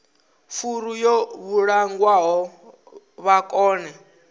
furu yo vhulungwaho vha kone